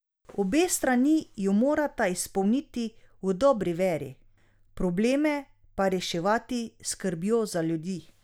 Obe strani jo morata izpolniti v dobri veri, probleme pa reševati s skrbjo za ljudi.